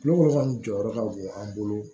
Kulon kɔni jɔyɔrɔ ka bon an bolo